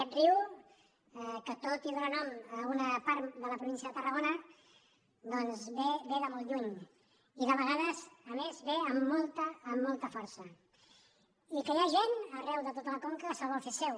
aquest riu que tot i donar nom a una part de la província de tarragona doncs ve de molt lluny i de vegades a més ve amb molta força i que hi ha gent arreu de tota la conca que se’l vol fer seu